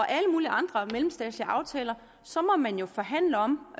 alle mulige andre mellemstatslige aftaler så må vi jo forhandle om